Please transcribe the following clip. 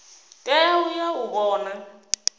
tea u ya u vhona